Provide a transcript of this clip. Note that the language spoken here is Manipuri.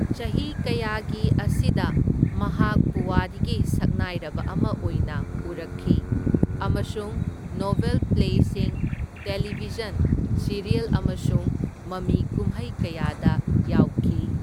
ꯆꯍꯤ ꯀꯌꯥꯒꯤ ꯑꯁꯤꯗ ꯃꯍꯥꯛ ꯄꯨꯋꯥꯔꯤꯒꯤ ꯁꯛꯅꯥꯏꯔꯕ ꯑꯃ ꯑꯣꯏꯅ ꯎꯔꯛꯈꯤ ꯑꯃꯁꯨꯡ ꯅꯣꯚꯦꯜ ꯄ꯭ꯂꯦꯁꯤꯡ, ꯇꯦꯂꯤꯚꯤꯖꯟ ꯁꯤꯔꯤꯌꯜ ꯑꯃꯁꯨꯡ ꯃꯃꯤ ꯀꯨꯝꯍꯩ ꯀꯌꯥꯗ ꯌꯥꯎꯈꯤ꯫